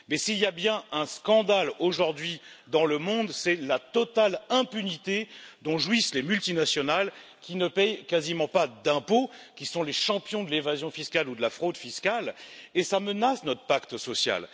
Mais s'il y a bien un scandale aujourd'hui dans le monde, c'est la totale impunité dont jouissent les multinationales qui ne paient quasiment pas d'impôts, qui sont les champions de l'évasion fiscale ou de la fraude fiscale et cela menace notre pacte social.